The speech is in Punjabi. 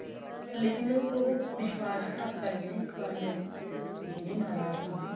ਪਰ ਲੇਕਿਨ ਉਹ ਵਿਸ਼ਵਾਸ ਘਾਤ ਕਰਗੀ ਨਾ ਇੱਕ ਵਾਰੀ ਉਹ ਝੜੀ ਮਾਇਆ ਸੀਗੀ